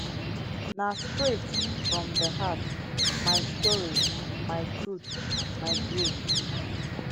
na straight from di heart my story my truth my growth